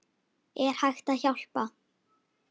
Er hægt að hjálpa?